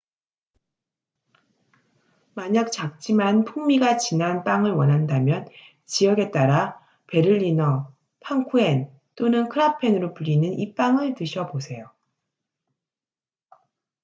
만약 작지만 풍미가 진한 빵을 원한다면 지역에 따라 베를리너 팡쿠헨 또는 크라펜으로 불리는 이 빵을 드셔보세요